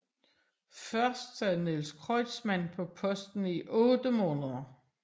Først sad Niels Kreutzmann på posten i otte måneder